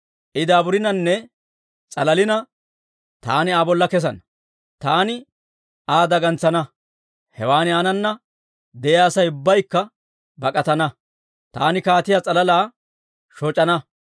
I daaburinanne s'alalina, taani Aa bolla kesana. Taani Aa dagantsana; hewan aanana de'iyaa Asay ubbaykka bak'atana; taani kaatiyaa s'alalaa shoc'ana.